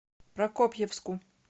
прокопьевску